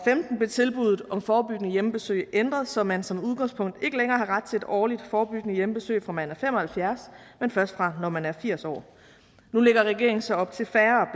blev tilbuddet om forebyggende hjemmebesøg ændret så man som udgangspunkt ikke længere har ret til et årligt forebyggende hjemmebesøg fra man er fem og halvfjerds år men først fra når man er firs år nu lægger regeringen så op til færre